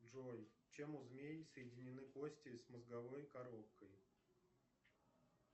джой чем у змеи соединены кости с мозговой коробкой